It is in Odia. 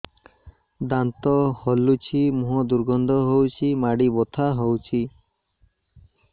ଦାନ୍ତ ହଲୁଛି ମୁହଁ ଦୁର୍ଗନ୍ଧ ହଉଚି ମାଢି ବଥା ହଉଚି